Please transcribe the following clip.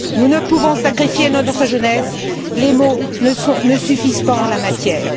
Nous ne pouvons sacrifier notre jeunesse, les mots ne suffisent pas en la matière.